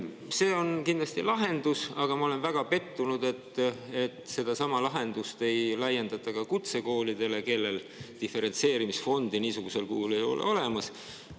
See on kindlasti lahendus, aga ma olen väga pettunud, et sedasama lahendust ei laiendata kutsekoolidele, kus diferentseerimisfondi niisugusel kujul ei ole olemas.